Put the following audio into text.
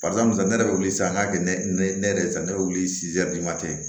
ne yɛrɛ bɛ wuli sisan k'a kɛ ne yɛrɛ sa ne bɛ wili